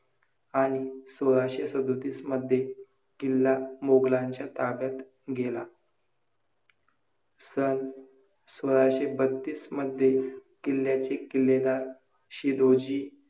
आणि भुजपातळीला खालवते. आता तर winden विहिरी चारशे ते पाचशे फुटापेक्षा अधिक खोल खणून भुभागात अक्षरशः